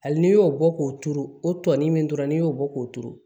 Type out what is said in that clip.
Hali n'i y'o bɔ k'o turu o tɔni min dɔrɔn n'i y'o bɔ k'o turu